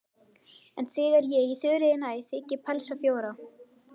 En þegar ég í Þuríði næ þigg ég pelsa fjóra.